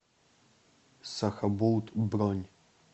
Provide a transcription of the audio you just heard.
сахабулт бронь